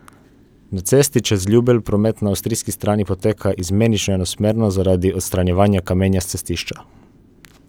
Na cesti čez Ljubelj promet na avstrijski strani poteka izmenično enosmerno zaradi odstranjevanja kamenja s cestišča.